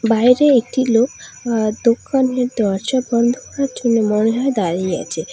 বাইরে একটি লোক আঃ দোকানের দরজা বন্ধ করার জন্য মনে হয় দাঁড়িয়ে আছে।